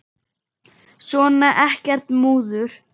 Svona, ekkert múður.